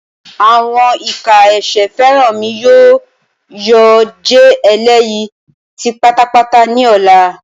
Awọn ika ẹsẹ Feranmi yoo jẹ eleyi ti patapata ni ọla.